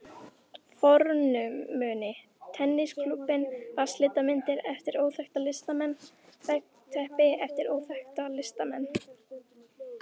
fornmuni, tennisklúbbinn, vatnslitamyndir eftir óþekkta listamenn, veggteppi eftir óþekkta listamenn.